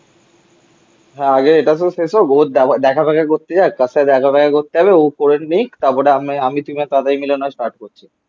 হ্যাঁ আগে এটা তো শেষ হোক ও দেখা ফেখা করতে যাক কার সাথে দেখা ফেখা করতে যাবে ও করে নিক তারপরে আমি তুমি আর তাতাই মিলে না হয় স্টার্ট করছি